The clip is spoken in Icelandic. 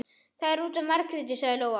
Það er út af Margréti, sagði Lóa.